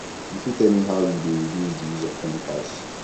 you fit tell me how you dey reduce di use of chemicals